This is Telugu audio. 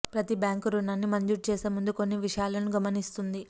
ప్రతి బ్యాంకు రుణాన్ని మంజూరు చేసే ముందు కొన్ని విషయాలను గమనిస్తుంది